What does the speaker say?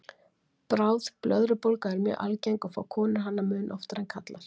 Bráð blöðrubólga er mjög algeng og fá konur hana mun oftar en karlar.